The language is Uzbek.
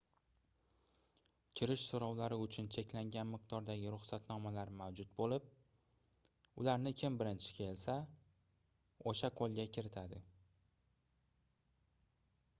kirish soʻrovlari uchun cheklangan miqdordagi ruxsatnomalar mavjud boʻlib ularni kim birinchi kelsa oʻsha qoʻlga kiritadi